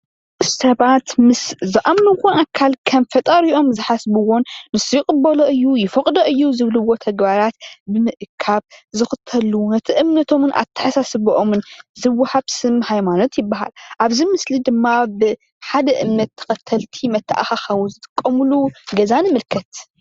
ሰባት ምስ ዝአምንዎ ኣካል ከም ፈጣሪኦም ዝሓስብዎን ዝኽተልዎን ኽብርዎን ዘምልኽዎን እምነቶምን ኣተሓሳስብኦምን ዝወሃብ ሰሞ ሃይማኖት ይበሃል። ኣብዚ ምስሊ ድማ ብሓደ እምነት ተኸተልቲ መተኣኻኸቢ ዝጥቀምሉ ገዛ ንምልከት።